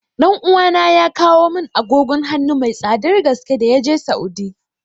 Ɗan uwana ya kawo mun agogon hanu mai tsadar gaske da yaje Saudi